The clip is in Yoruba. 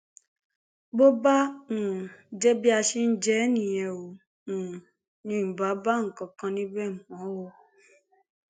bó bá um jẹ bí a ṣe ń jẹ ẹ nìyẹn o ò um ní bá nǹkan kan níbẹ mọ o